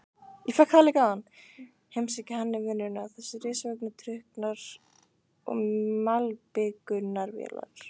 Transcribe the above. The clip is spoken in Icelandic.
Heimsækja hann í vinnuna, þessir risavöxnu trukkar og malbikunarvélar.